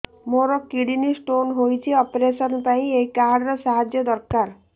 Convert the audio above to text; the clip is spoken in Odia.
ମୋର କିଡ଼ନୀ ସ୍ତୋନ ହଇଛି ଅପେରସନ ପାଇଁ ଏହି କାର୍ଡ ର ସାହାଯ୍ୟ ଦରକାର